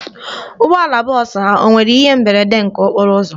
Ụgbọala bọọsụ ha o nwere ihe mberede nke okporo ụzọ?